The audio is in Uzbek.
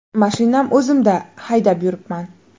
Mashinam o‘zimda, haydab yuribman.